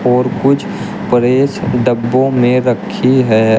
और कुछ प्रेस डब्बों में रखी है।